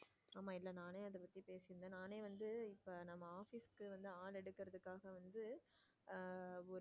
ஆமா இல்ல நானே அதை பத்தி பேசி இருந்தேன் நானே வந்து இப்ப நம்ம office க்கு வந்து ஆளு எடுக்கறதுக்காக வந்து ஹம் ஒரு.